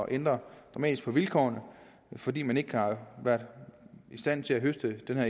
ændre dramatisk på vilkårene fordi man ikke har været i stand til at høste den her